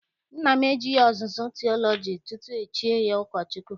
Nna m ejeghị ọzụzụ tiọlọji tutu e chie ya ụkọchukwu.